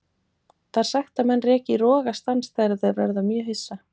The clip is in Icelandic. Það er sagt að menn reki í rogastans þegar þeir verða mjög hissa.